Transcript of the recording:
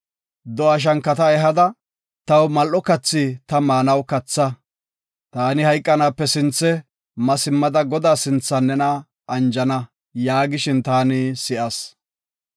‘Do7a shankata ehada taw mal7o kathi ta maanaw katha. Taani hayqanaape sinthe ma simmada Godaa sinthan nena anjana’ yaagishin taani si7as.